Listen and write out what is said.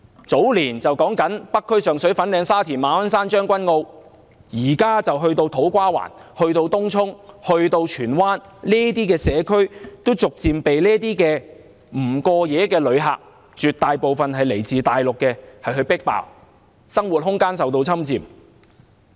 早年北區、上水、粉嶺、沙田、馬鞍山、將軍澳受到影響，現時波及土瓜灣、東涌及荃灣，這些社區都逐漸被這些不過夜、絕大部分來自大陸的旅客迫爆，居民生活空間受到侵佔。